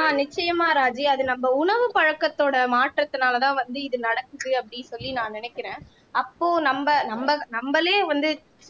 ஆஹ் நிச்சயமா ராஜி அது நம்ம உணவு உணவு பழக்கத்தோட மாற்றத்தினாலதான் வந்து இது நடக்குது அப்படின்னு சொல்லி நான் நினைக்கிறேன் அப்போ நம்ம நம்ம நம்மளே வந்து